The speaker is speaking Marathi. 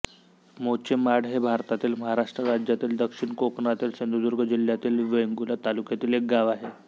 मोचेमाड हे भारतातील महाराष्ट्र राज्यातील दक्षिण कोकणातील सिंधुदुर्ग जिल्ह्यातील वेंगुर्ला तालुक्यातील एक गाव आहे